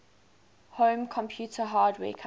home computer hardware companies